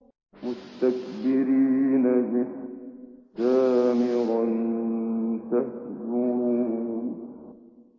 مُسْتَكْبِرِينَ بِهِ سَامِرًا تَهْجُرُونَ